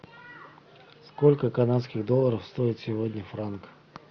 сколько канадских долларов стоит сегодня франк